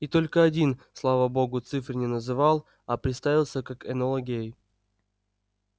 и только один слава богу цифры не называл а представился как энола гей